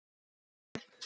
Eða sjö.